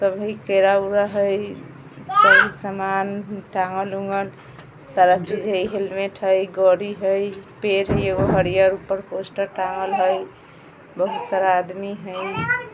सामान टाँगल-उंगल सारा चीज हई हेलमेट हई हई पेड़ है एगो हरियर ऊपर पोस्टर टाँगल हई बोहोत सारा आदमी हई।